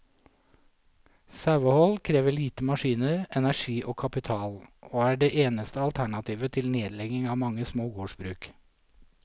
Sauehold krever lite maskiner, energi og kapital, og er det eneste alternativet til nedlegging av mange små gårdsbruk.